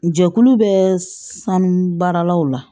Jɛkulu bɛ sanu baaralaw la